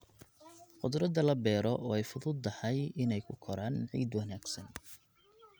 Khudradda la beero way fududahay inay ku koraan ciid wanaagsan.